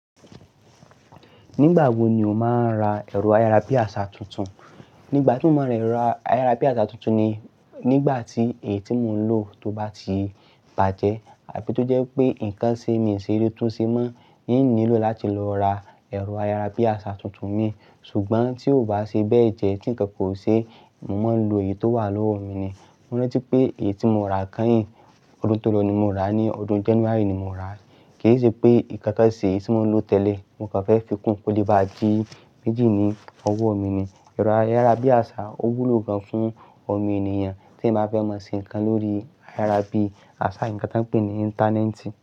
Nígbà wo ni o máa ra ẹ̀rọ ayarabiasa tuntun? Nígbà tí mo máa ra ayarabiasa tuntun ni nígbà tí èyí tí mò ń lò tó bá ti bàjẹ́ àbí tó jẹ́ pé nǹkan ṣe mí ṣe létúnsi mọ́ ní n nílò láti lọ ra ẹ̀rọ ayarabiasa tuntun mi. Ṣùgbọ́n tí ó bá ṣe bẹ́ẹ̀ jẹ́ tí ǹkankan ò ṣe, mo máa lò èyí tó wà lówó mi ni. Mo rántí pé èyí tí mo ra kányìn, ọdún tó lọ ni mo rà á, ní ọdún January ni mo rà á. Kì í ṣe pé nǹkankan ṣe èyí tí mò ń lò tẹ́lẹ̀ mo kàn fẹ́ fi kún, kó lè bá a di méjì ní ọwọ́ mi ni. Ẹ̀rọ ayarabiasa ó wúlò gan-an fún ọmọ ènìyàn tí eyan bá fẹ́ mọ̀ se ǹkan lórí ayarabiasa, ǹkan tí a ń pè ní Íńtánẹ́ẹ̀tì.